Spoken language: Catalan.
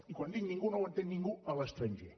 i quan dic ningú és que no ho entén ningú a l’estranger